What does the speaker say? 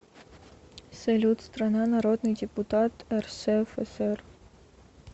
салют страна народный депутат рсфср